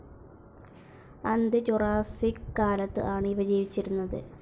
അന്ത്യ ജുറാസ്സിക് കാലത്തു ആണ് ഇവ ജീവിച്ചിരുന്നത്.